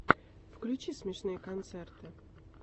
включи смешные концерты